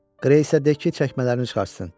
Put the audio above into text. Qreyə isə de ki, çəkmələrini çıxartsın.